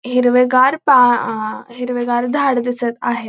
हिरवेगार पा आं हिरवेगार झाड दिसत आहे.